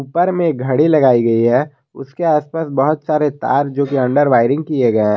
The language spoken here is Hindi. पर मे घड़ी लगाई गई है उसके आसपास बहुत सारे तार जो की अंडर वायरिंग किए गए हैं।